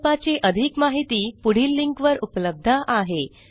प्रकल्पाची अधिक माहिती पुढील लिंकवर उपलब्ध आहे